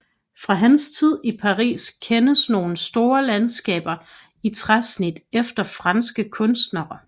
Fra hans tid i Paris kendes nogle store landskaber i træsnit efter franske kunstnere